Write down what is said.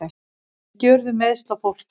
Ekki urðu meiðsl á fólki